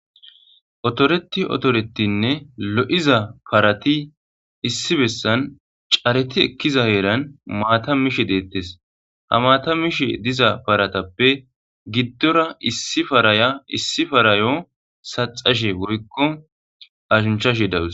Otoretti otorettinnne keehi lo7iza parati issi bessan careti ekkiza bessan maata mishe deettes ha maata mishe diza paratappe giddora issi paraya ha issi parayo saxxashe dawus.